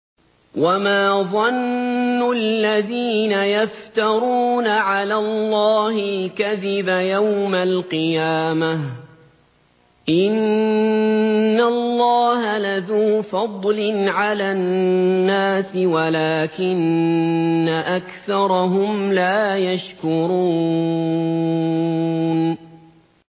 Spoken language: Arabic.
وَمَا ظَنُّ الَّذِينَ يَفْتَرُونَ عَلَى اللَّهِ الْكَذِبَ يَوْمَ الْقِيَامَةِ ۗ إِنَّ اللَّهَ لَذُو فَضْلٍ عَلَى النَّاسِ وَلَٰكِنَّ أَكْثَرَهُمْ لَا يَشْكُرُونَ